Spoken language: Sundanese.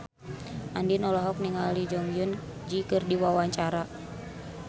Andien olohok ningali Jong Eun Ji keur diwawancara